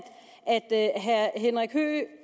at herre henrik høegh